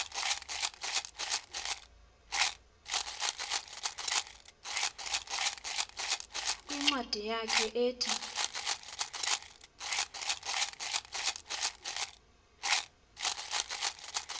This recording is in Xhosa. kwincwadi yakhe ethi